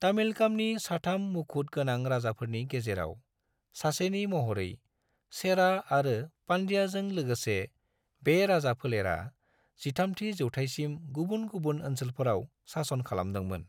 तामिलकामनि साथाम मुखुद गोनां राजाफोरनि गेजेराव सासेनि महरै, चेरा आरो पांड्याजों लोगोसे, बे राजाफोलेरा 13थि जौथायसिम गुबुन-गुबुन ओनसोलफोराव सासन खालामदोंमोन।